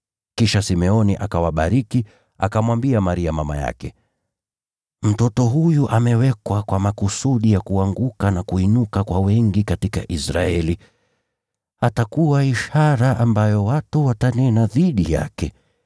Kisha Simeoni akawabariki, akamwambia Maria mama yake, “Mtoto huyu amewekwa kwa makusudi ya kuanguka na kuinuka kwa wengi katika Israeli. Atakuwa ishara ambayo watu watanena dhidi yake,